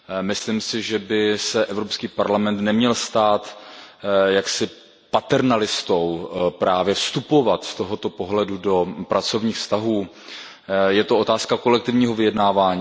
Myslím si, že by se Evropský parlament neměl stát jaksi paternalistou, právě vstupovat z tohoto pohledu do pracovních vztahů, je to otázka kolektivního vyjednávání.